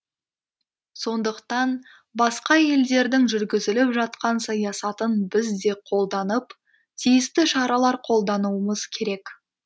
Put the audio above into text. сондықтан басқа елдердің жүргізіп жатқан саясатын біз де қолданып тиісті шаралар қолдануымыз керек